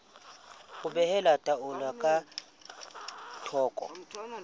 ho behela taelo ka thoko